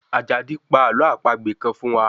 Àjàdí, pa àlọ́ àpagbè kan fún wa